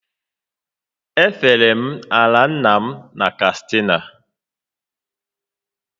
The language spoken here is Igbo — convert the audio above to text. E fere m ala nna m na Katsina